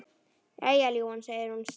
Jæja, ljúfan, segir hún snúðug.